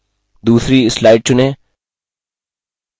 दूसरी slide चुनें